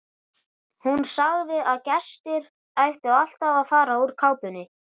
Hún sagði að gestir ættu alltaf að fara úr kápunni.